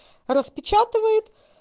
распечатывает